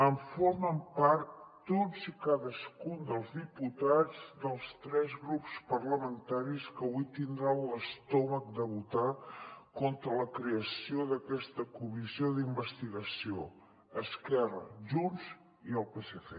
en formen part tots i cadascun dels diputats dels tres grups parlamentaris que avui tindran l’estómac de votar contra la creació d’aquesta comissió d’investigació esquerra junts i el psc